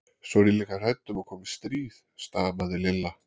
Svo er ég líka hrædd um að komi stríð. stamaði Lilla.